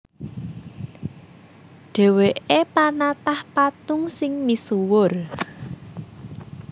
Dhèwèké panatah patung sing misuwur